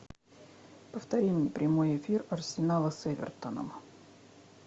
повтори мне прямой эфир арсенала с эвертоном